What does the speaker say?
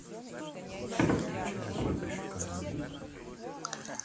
переключи на следующий канал